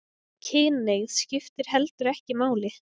Kynhneigð skiptir heldur ekki máli